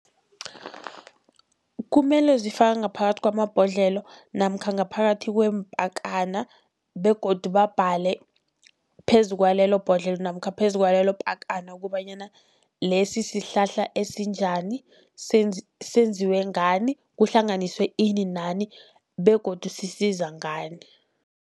Kumele zifakwe ngaphakathi kwamabhodlelo namkha ngaphakathi kweempakana, begodu babhale phezu kwalelo bhodlelo namkha phezu kwaleyo pakana kobanyana lesi sihlahla esinjani, senziwe ngani, kuhlanganiswe ini nani begodu sisiza ngani.